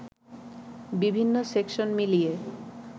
বিভিন্ন সেকশন মিলিয়ে